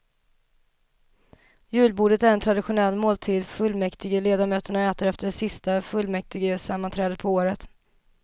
Julbordet är en traditionell måltid fullmäktigeledamöterna äter efter det sista fullmäktigesammanträdet på året.